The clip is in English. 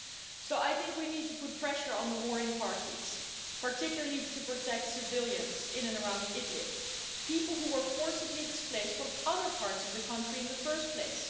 So I think we need to put pressure on the warring parties, particularly to protect civilians in and around Idlib, people who were forcibly displaced from other parts of the country in the first place